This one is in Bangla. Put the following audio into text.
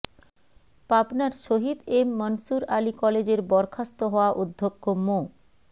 পাবনার শহীদ এম মনসুর আলী কলেজের বরখাস্ত হওয়া অধ্যক্ষ মো